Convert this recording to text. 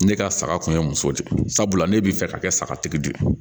Ne ka saga kun ye muso de ye sabula ne bɛ fɛ ka kɛ sagatigi de ye